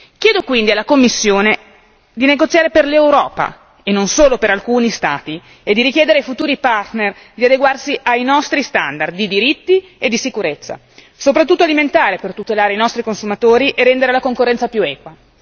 Chiedo quindi alla Commissione di negoziare per l'Europa, e non solo per alcuni Stati, e di richiedere ai futuri partner di adeguarsi ai nostri standard di diritti e di sicurezza, soprattutto alimentare, per tutelare i nostri consumatori e rendere la concorrenza più equa.